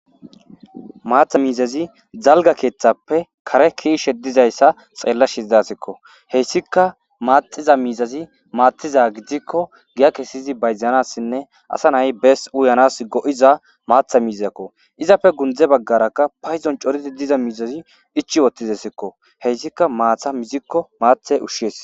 Maaththa miizazi dalgga keththappe kaare keishshe diizayssa ta xeelashe dayssekko hessika maaxiza miizazi maththiza giidiko giiya kessidi bayzanassine assa na'ay bassi uyyanas go'zza maththa mizazako iizappe gundde baggaraka payddon coori diiza miizazi ichchi uttidesiko hessika maata miiziko maaththa ushshes.